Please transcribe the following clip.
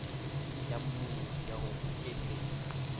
ya mmuni ya ho bokelletsa